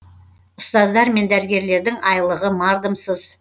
ұстаздар мен дәрігерлердің айлығы мардымсыз